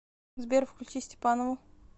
сбер включи степанову